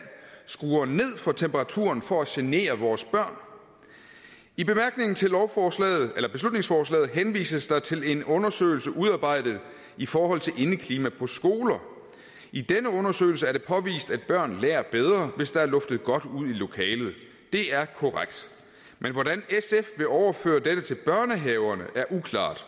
skruer ned for temperaturen for at genere vores børn i bemærkningerne til beslutningsforslaget henvises der til en undersøgelse udarbejdet i forhold til indeklimaet på skoler i denne undersøgelse er det påvist at børn lærer bedre hvis der er luftet godt ud i lokalet det er korrekt men hvordan sf vil overføre dette til børnehaverne er uklart